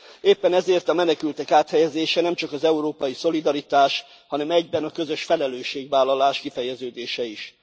Éppen ezért a menekültek áthelyezése nemcsak az európai szolidaritás, hanem egyben a közös felelősségvállalás kifejeződése is.